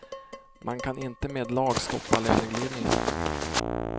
Man kan inte med lag stoppa löneglidningen.